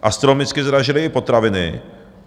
Astronomicky zdražily i potraviny.